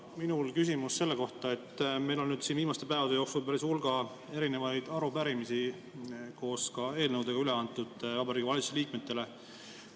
Minul on küsimus selle kohta, et meil on siin viimaste päevade jooksul päris hulga arupärimisi ja eelnõusid Vabariigi Valitsuse liikmetele üle antud.